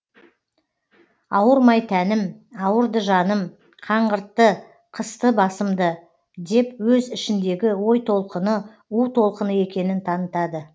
ауырмай тәнім ауырды жаным қаңғыртты қысты басымды деп өз ішіндегі ой толқыны у толқыны екенін танытады